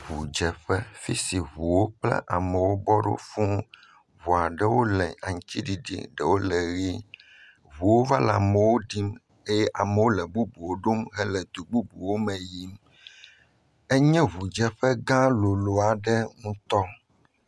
Ŋudzeƒe afi si ŋu aɖeu le aŋutiɖiɖi ɖewo le ʋe ŋuwa va le amewo dim eye amewo le bubuwo ɖom hele du bubuwo me yim enye ŋudzeƒegã lolo aɖe ŋutɔ.